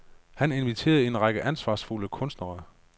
Han inviterede en række ansvarsfulde kunstnere.